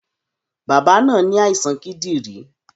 Bàbá náà ní àìsàn kídìrín